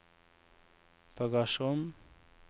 bagasjerom